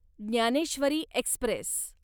Dnyaneshwari Express